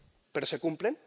Pero ¿se cumplen?